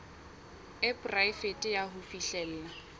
e poraefete ya ho fihlella